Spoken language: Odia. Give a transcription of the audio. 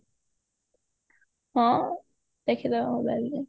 ହଁ ଦେଖିଦବା mobileରେ